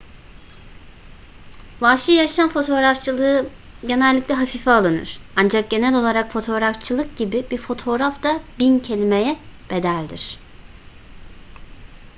vahşi yaşam fotoğrafçılığı genellikle hafife alınır ancak genel olarak fotoğrafçılık gibi bir fotoğraf da bin kelimeye bedeldir